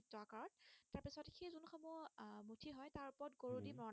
কত উম